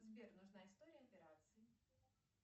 сбер нужна история операций